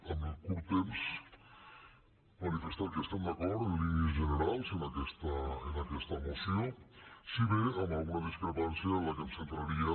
amb el curt temps manifestar que estem d’acord en línies generals amb aquesta moció si bé amb alguna discrepància en què em centraria